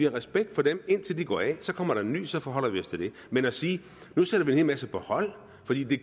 respekt for dem indtil de går af så kommer der en ny og så forholder vi os til den men at sige nu sætter vi en hel masse på hold fordi det